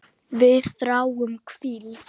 Við þráum hvíld.